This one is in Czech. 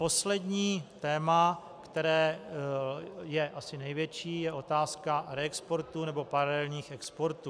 Poslední téma, které je asi největší, je otázka reexportů nebo paralelních exportů.